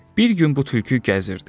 Bir gün bu tülkü gəzirdi.